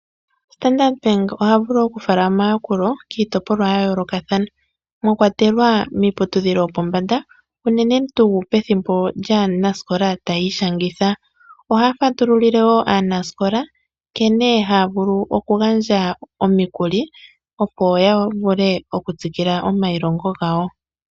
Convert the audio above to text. Standard Bank oha vulu okufala omayakulo kiitopolwa ya yoolokathana mwa kwatelwa miiputudhilo yopombanda, unene tuu pethimbo lyaanasikola taya ishangitha. Ohaya fatululile wo aanasikola nkene haya vulu okugandja omikuli, opo ya vule okutsikila omailongo gawo.